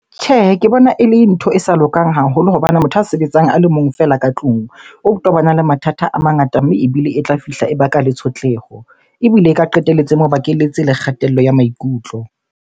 Tjhehe, ke bona ele ntho e sa lokang haholo hobane motho a sebetsang a le mong fela ka tlung o tobana le mathata a mangata mme ebile e tla fihla e baka le tshotleho. Ebile e ka qetelletse e mo bakelletse le kgatello ya maikutlo.